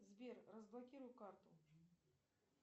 сбер разблокируй карту